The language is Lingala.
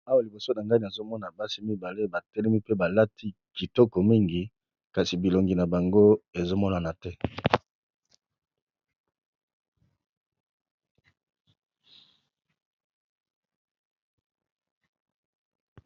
Awa liboso na ngai nazomona basi mibale ba lati pe batelemi kitoko kasi elongi nabango ezo monana te.